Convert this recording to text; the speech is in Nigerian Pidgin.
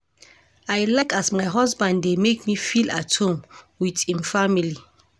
I like as my husband dey make me feel at home wit im family.